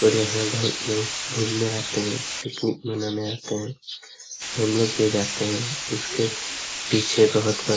और यहां बहुत लोग घूमने आते हैं। पिकनिक मनाने आते हैं हम लोग भी जाते हैं उसके पीछे बहुत बड़ा--